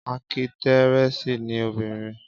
Ákítírẹ́sì ni obìnrin